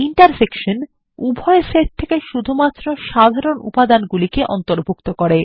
intersection উভয় set থেকে শুধুমাত্র সাধারণ উপাদানগুলিকে অন্তর্ভুক্ত করে